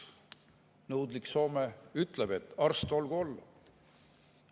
Nõudlik Soome ütleb, et arst olgu olla.